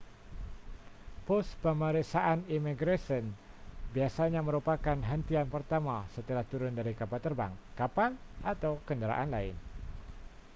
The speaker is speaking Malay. pos pemeriksaan imigresen biasanya merupakan hentian pertama setelah turun dari kapal terbang kapal atau kenderaan lain